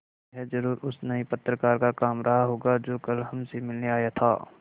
यह ज़रूर उस नये पत्रकार का काम रहा होगा जो कल हमसे मिलने आया था